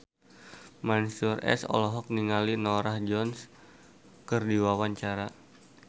Mansyur S olohok ningali Norah Jones keur diwawancara